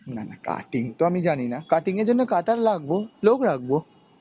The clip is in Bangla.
না না cutting তো আমি জানি না. cutting এর জন্য cutter লাখব, লোক রাখব.